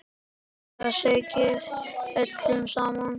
Það ægði öllu saman.